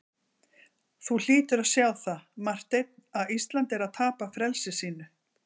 Þú hlýtur að sjá það, Marteinn, að Ísland er að tapa frelsi sínu.